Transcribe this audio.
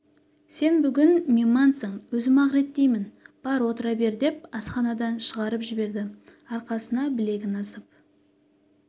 сен бүгін меймансың өзім-ақ реттеймін бар отыра бер деп асханадан шығарып жіберді арқасына білегін асып